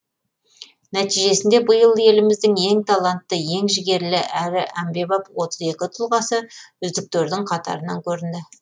нәтижесінде биыл еліміздің ең талантты ең жігерлі әрі әмбебап отыз екі тұлғасы үздіктердің қатарынан көрінді